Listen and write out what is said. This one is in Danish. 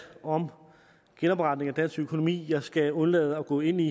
om genopretning af dansk økonomi og jeg skal undlade at gå ind i